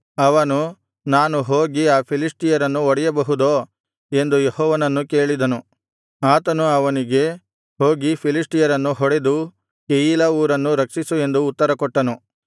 ಅವನು ನಾನು ಹೋಗಿ ಆ ಫಿಲಿಷ್ಟಿಯರನ್ನು ಹೊಡೆಯಬಹುದೋ ಎಂದು ಯೆಹೋವನನ್ನು ಕೇಳಿದನು ಆತನು ಅವನಿಗೆ ಹೋಗಿ ಫಿಲಿಷ್ಟಿಯರನ್ನು ಹೊಡೆದು ಕೆಯೀಲಾ ಊರನ್ನು ರಕ್ಷಿಸು ಎಂದು ಉತ್ತರ ಕೊಟ್ಟನು